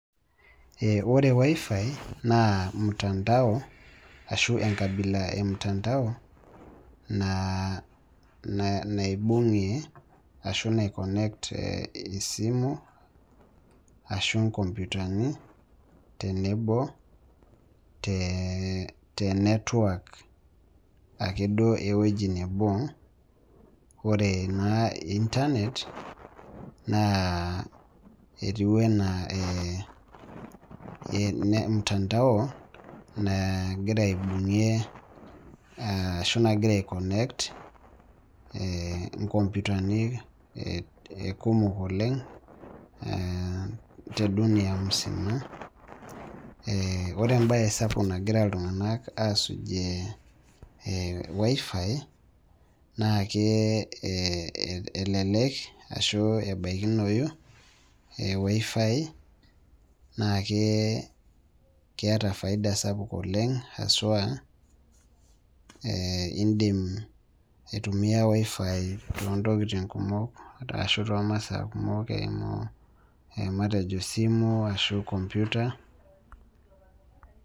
Eh ore WiFi naa mtandao ashu enkabila e mtandao naa, naibung'e ashu naikonnekt esimu ashu inkompyutani tenebo tee tenetwak ake duoo ewueji nebo ore naa  intanet naa etiu enaa mtandao naaigira aibung'ie ashu magira aikonnekt eeh inkompyutani kumok oleng' eh tedunia musima eh ore embaye sapuk nagira iltung'anak asujie WiFi naakee eeh elelek ashu ebaikinoyu eWiFi naakee keeta  faida sapuk oleng' haswa eeh indim aitumia WiFi toontokitin kumok ashu toomasaa kumok eimu matejo esimu ashu kompyuta.